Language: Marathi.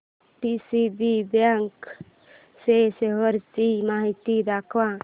डीसीबी बँक च्या शेअर्स ची माहिती दाखव